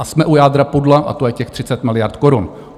A jsme u jádra pudla a to je těch 30 miliard korun.